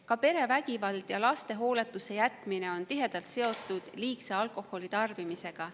Ka perevägivald ja laste hooletusse jätmine on tihedalt seotud liigse alkoholitarbimisega.